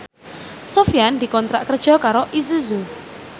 Sofyan dikontrak kerja karo Isuzu